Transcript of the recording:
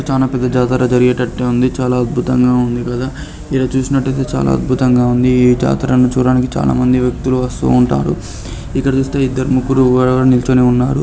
చానా పెద్ద జాతర జరిగేటట్టే ఉంది. చాలా అద్భుతంగా ఉంది కదా. ఈడ చూసినట్టయితే చాలా అద్భుతంగా ఉంది. ఈ జాతరను చూడటానికి చాలామంది వ్యక్తులు వస్తూ ఉంటారు. ఇక్కడ చూస్తే ఇద్దరు ముగ్గురు నిల్చోనే ఉన్నారు.